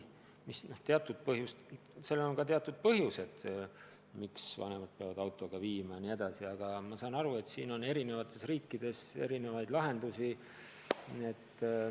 Ma saan aru, et sellel võivad olla ka teatud põhjused, miks vanemad peavad lapsi autoga kohale viima, aga paljudes riikides on sellele leitud erinevaid lahendusi.